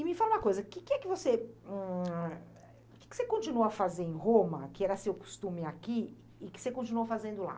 E me fala uma coisa, o que é que você hm... O que você continua a fazer em Roma, que era seu costume aqui, e que você continuou fazendo lá?